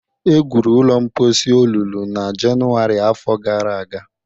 Egwuru ụlọ mposi olulu na Jenụwarị afọ gara aga